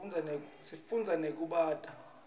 sifunza nekubata